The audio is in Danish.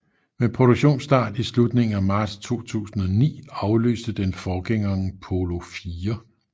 Med produktionsstart i slutningen af marts 2009 afløste den forgængeren Polo IV